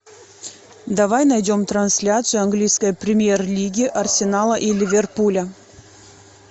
давай найдем трансляцию английской премьер лиги арсенала и ливерпуля